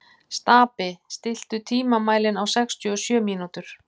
Stapi, stilltu tímamælinn á sextíu og sjö mínútur.